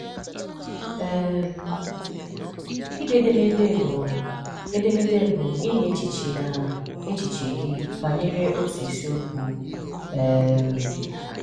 um Ide edemede bụ edemede bụ inye echiche na echiche gị banyere ótù isiokwu. um